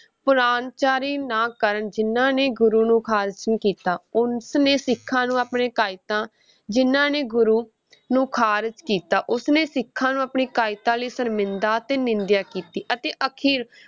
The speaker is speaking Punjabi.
ਪਰਾਹੁਣਚਾਰੀ ਨਾ ਕਰਨ ਜਿਨ੍ਹਾਂ ਨੇ ਗੁਰੂ ਨੂੰ ਖਾਰਜ ਕੀਤਾ, ਉਸਨੇ ਸਿੱਖਾਂ ਨੂੰ ਆਪਣੇ ਕਾਇਤਾਂ ਜਿੰਨਾਂ ਨੇ ਗੁਰੂ ਨੂੰ ਖਾਰਜ ਕੀਤਾ, ਉਸਨੇ ਸਿੱਖਾਂ ਨੂੰ ਆਪਣੀ ਕਾਇਰਤਾ ਲਈ ਸ਼ਰਮਿੰਦਾ ਅਤੇ ਨਿੰਦਿਆ ਕੀਤੀ ਅਤੇ ਅਖੀਰ